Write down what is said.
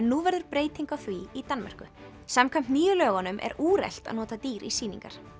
nú verður breyting á því í Danmörku samkvæmt nýju lögunum er úrelt að nota dýr í sýningar